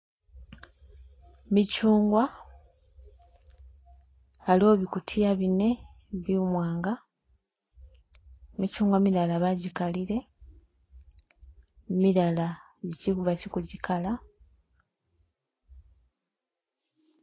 Michungwa , aliwo bikutiya bine bi'mwanga , michungwa milala bajikalile milala bakili kujikala.